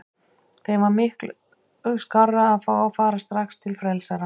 Þeim var miklu skárra að fá að fara strax til frelsarans.